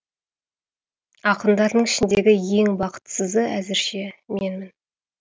ақындардың ішіндегі ең бақытсызы әзірше менмін